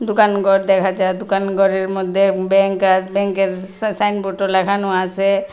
দোকানঘর দেখা যায় দোকানঘরের মধ্যে ব্যাংক আর ব্যাংকের সাইনবোর্ডও লাগানো আসে।